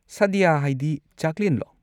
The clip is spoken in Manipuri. ꯁꯥꯗ꯭ꯌ ꯍꯥꯏꯗꯤ, ꯆꯥꯛꯂꯦꯟꯂꯣ?